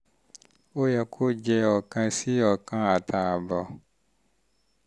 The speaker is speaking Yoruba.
ó yẹ kó jẹ oókan sí oókan àtààbọ̀